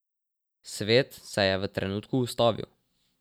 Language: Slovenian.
Svet se je v trenutku ustavil.